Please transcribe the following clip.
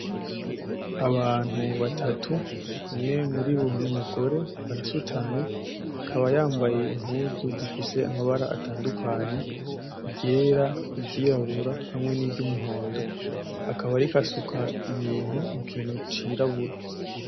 Abantu batatu umwe muribo numugore arasutamye akaba yambaye impuzu zifise amabara atandukanye iryera ,iryirabura hamwe niryumuhondo akaba ariko asuka ibintu kukintu kirabura.